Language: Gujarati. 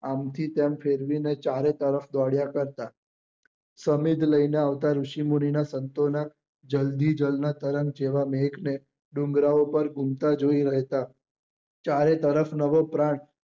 આમ થી તેમ ફેરવી ને ચારે તરફ દોડ્યા કરતા સમિધ લઇ ને આવતા ઋષિ મુની નાં સંતો ના જલધિ જલધ તરંગ જેવા મેઘ ને ડુંગરા પર ગુમતા જોયા રહેતા ચારે તરફ નવો પ્રાગ